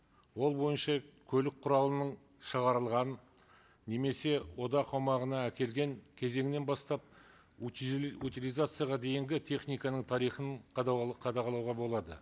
ол бойынша көлік құралының шығарылғанын немесе одақ аумағына әкелген кезеңнен бастап утилизацияға дейінгі техниканың тарихын қадағалауға болады